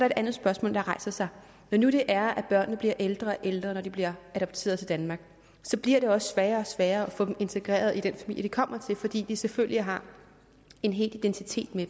et andet spørgsmål der rejser sig når nu det er at børnene bliver ældre og ældre når de bliver adopteret til danmark så bliver det også sværere og sværere at få dem integreret i den familie de kommer til fordi de selvfølgelig har en hel identitet med